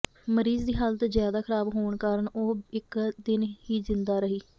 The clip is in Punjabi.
ਮਰੀਜ਼ ਦੀ ਹਾਲਤ ਜ਼ਿਆਦਾ ਖਰਾਬ ਹੋਣ ਕਾਰਨ ਉਹ ਇੱਕ ਦਿਨ ਹੀ ਜ਼ਿੰਦਾ ਰਹੀ